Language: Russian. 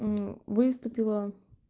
выступила